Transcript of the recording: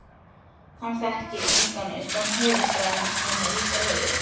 Hann þekkti engan utan höfuðstaðarins nema á Ísafirði.